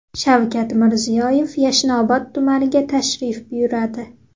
Shavkat Mirziyoyev Yashnobod tumaniga tashrif buyuradi.